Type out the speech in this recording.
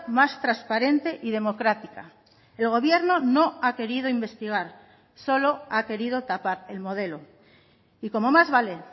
más transparente y democrática el gobierno no ha querido investigar solo ha querido tapar el modelo y como más vale